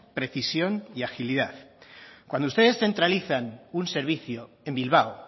precisión y agilidad cuando ustedes centralizan un servicio en bilbao